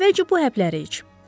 Əvvəlcə bu həbləri iç.